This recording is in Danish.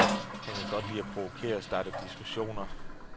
Han kan godt lide at provokere og starte diskussioner.